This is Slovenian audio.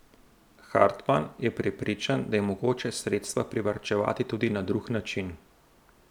Hartman je prepričan, da je mogoče sredstva privarčevati tudi na drug način.